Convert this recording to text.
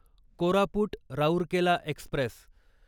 Koraput Rourkela Express